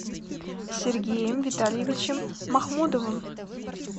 сергеем витальевичем махмудовым